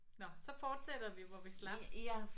Nåh så fortsætter vi når vi slap